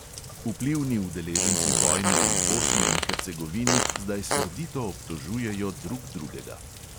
Vplivni udeleženci vojne v bosni in hercegovini zdaj srdito obtožujejo drug drugega.